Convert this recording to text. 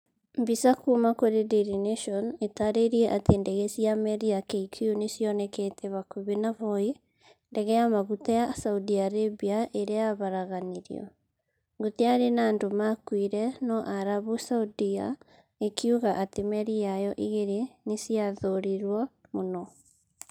Mbica kuuma kũrĩ daily nation ĩtarĩirie atĩ ndege cia meri ya KQ nĩ cionekete hakuhĩ na voi, ndege ya maguta ya Saudi Arabia ĩrĩa yaharaganirio. Gũtiarĩ na andũ maakuire, no Arabu Saudia ĩkiuga atĩ meri yayo igĩrĩ nĩ ciathũrirũo mũno